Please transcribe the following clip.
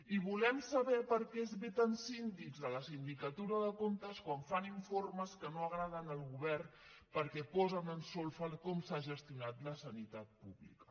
i volem saber per què es veten síndics a la sindicatura de comptes quan fan informes que no agraden al govern perquè posen en solfa com s’ha gestionat la sanitat pública